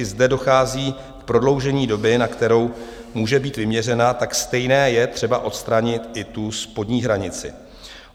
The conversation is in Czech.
I zde dochází k prodloužení doby, na kterou může být vyměřena, tak stejně je třeba odstranit i tu spodní hranici.